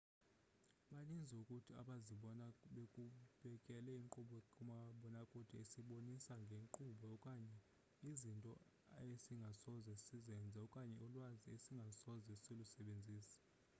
baninzi kuthi abazibona bebukele inkqubo kamabonakude esibonisa ngeenkqubo okanye izinto esingasoze sizenze okanye ulwazi esingasoze silusebenzise